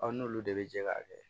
n'olu de bɛ jɛ k'a kɛ